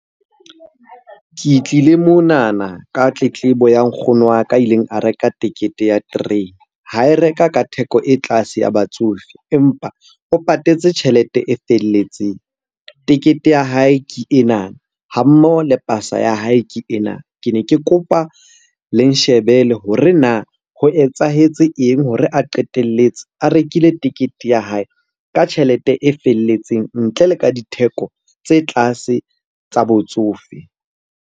Ke tlile monana ka tletlebo ya nkgono wa ka a ileng a reka tekete ya terene. Ha e reka ka theko e tlase ya batsofe, empa o patetse tjhelete e felletseng. Tekete ya hae ke ena, ha mmoho le pasa ya hae ke ena. Ke ne ke kopa le nshebele hore na ho etsahetse eng hore a qetelletse a rekile tekete ya hae ka tjhelete e felletseng ntle le ka ditheko tse tlase tsa botsofe?